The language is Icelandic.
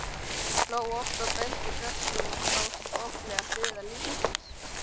Hún hló oft og benti krökkunum á skoplegar hliðar lífsins.